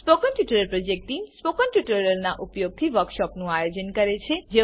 spoken tutorial project team spoken ટ્યુટોરીયલોનાં ઉપયોગથી વર્કશોપોનું આયોજન કરે છે